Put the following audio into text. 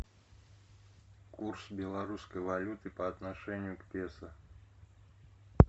курс белорусской валюты по отношению к песо